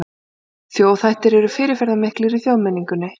Þjóðhættir eru fyrirferðamiklir í þjóðmenningunni.